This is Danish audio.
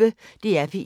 DR P1